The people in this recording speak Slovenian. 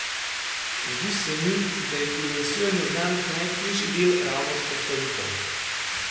Zdi se mi, da je pri lansiranju znamke najtežji del ravno vzpostavitev.